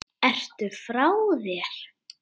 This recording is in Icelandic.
Ertu frá þér!